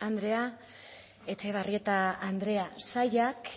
andrea etxebarrieta andrea sailak